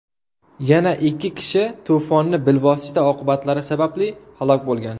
Yana ikki kishi to‘fonning bilvosita oqibatlari sababli halok bo‘lgan.